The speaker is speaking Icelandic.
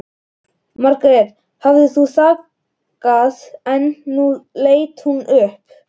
Margrét hafði þagað en nú leit hún upp.